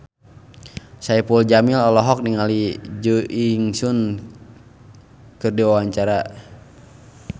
Saipul Jamil olohok ningali Jo In Sung keur diwawancara